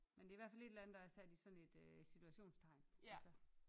Men det er i hvert fald et eller andet der er sat i sådan et øh citationstegn altså